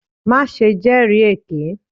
Maṣe jẹri eke!